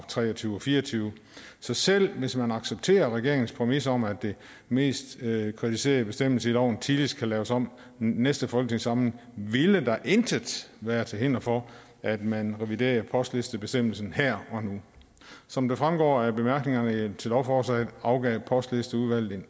tre og tyve og fireogtyvende så selv hvis man accepterer regeringens præmis om at den mest kvalificerede bestemmelse i loven tidligst kan laves om næste folketingssamling ville der intet være til hinder for at man reviderede postlistebestemmelsen her og nu som det fremgår af bemærkningerne til lovforslaget afgav postlisteudvalget